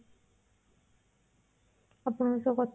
ଆପଣଙ୍କ ସହ କଥା ହେଇକି